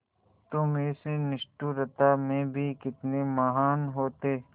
तुम इस निष्ठुरता में भी कितने महान् होते